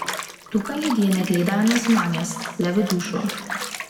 Tukaj ljudje ne gledajo na zunanjost, le v dušo.